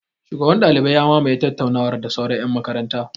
Shugaban ɗaliban ya mamaye tattaunawar da sauran ƴan makarantar.